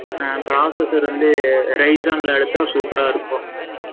processor வந்து, Raiza ல எடுத்தா, super ஆ இருக்கும். ம்,